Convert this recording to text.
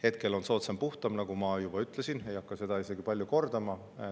Hetkel on soodsam puhtam, nagu ma juba ütlesin, ei hakka seda palju kordama.